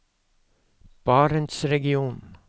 barentsregionen